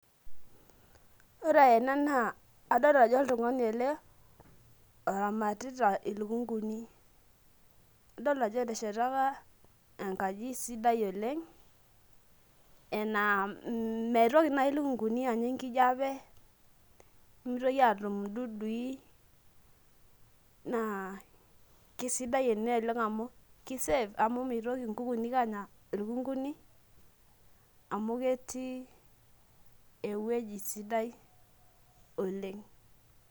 ore ena naa adoolta ajo oltungani ele oramatita, ilukunkuni. adol ajo eteshata enkaji sidai oleng anaa mitoki naaji ilukunkuni anya enkijiape. nemitoki aatum idudui. naa kisidai ene oleng amu, ki safe amu mitoki inkukuni anya ilukunkuni amu ketii ewueji sidai oleng.